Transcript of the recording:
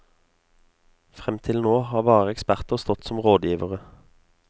Frem til nå har bare eksperter stått som rådgivere.